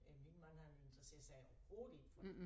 Øh min mand han interesserer sig overhovedet ikke for det